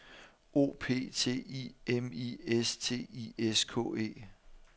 O P T I M I S T I S K E